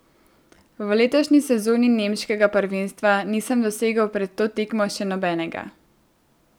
V letošnji sezoni nemškega prvenstva nisem dosegel pred to tekmo še nobenega.